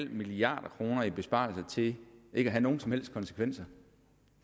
milliard kroner i besparelser til ikke at have nogen som helst konsekvenser